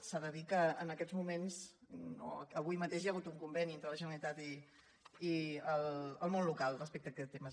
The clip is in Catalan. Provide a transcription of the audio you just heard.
s’ha de dir que en aquests moments avui mateix hi ha hagut un conveni entre la generalitat i el món local respecte a aquest tema